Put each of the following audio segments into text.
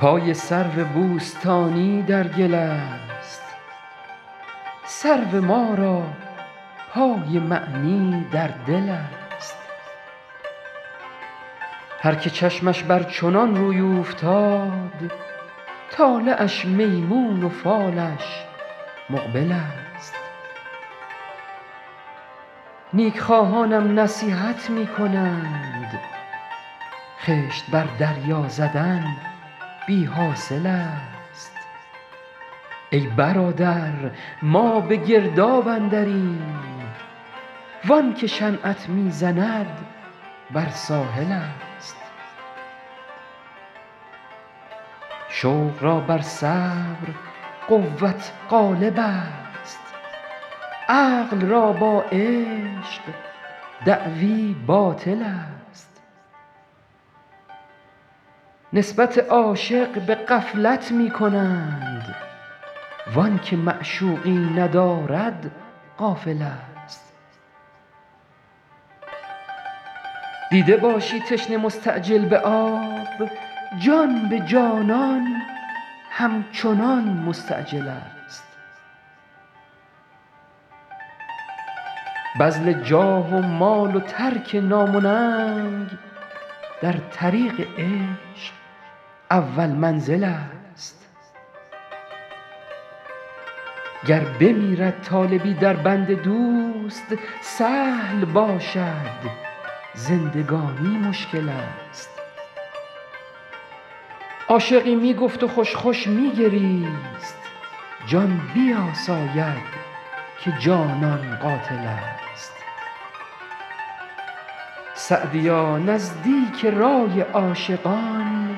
پای سرو بوستانی در گل است سرو ما را پای معنی در دل است هر که چشمش بر چنان روی اوفتاد طالعش میمون و فالش مقبل است نیک خواهانم نصیحت می کنند خشت بر دریا زدن بی حاصل است ای برادر ما به گرداب اندریم وان که شنعت می زند بر ساحل است شوق را بر صبر قوت غالب است عقل را با عشق دعوی باطل است نسبت عاشق به غفلت می کنند وآن که معشوقی ندارد غافل است دیده باشی تشنه مستعجل به آب جان به جانان همچنان مستعجل است بذل جاه و مال و ترک نام و ننگ در طریق عشق اول منزل است گر بمیرد طالبی در بند دوست سهل باشد زندگانی مشکل است عاشقی می گفت و خوش خوش می گریست جان بیاساید که جانان قاتل است سعدیا نزدیک رای عاشقان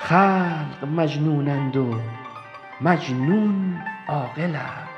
خلق مجنونند و مجنون عاقل است